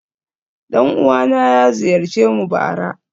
Dan uwana ya ziyarce mu bara